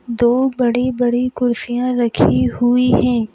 दो बड़ी-बड़ी कुर्सियां रखी हुई हैं।